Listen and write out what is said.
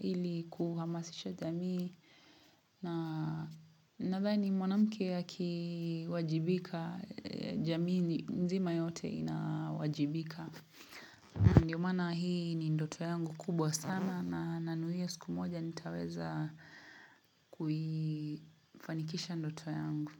ili kuhamasisha jamii Nathani mwanamke akiwajibika jamii nzima yote inawajibika Ndiyo maana hii ni ndoto yangu kubwa sana na nanuiya siku moja nitaweza kuifanikisha ndoto yangu.